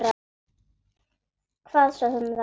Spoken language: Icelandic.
Hvað svo sem það er.